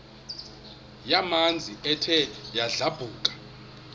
yamanzi ethe yadlabhuka